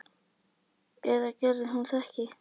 Eða gerði hún það ekki?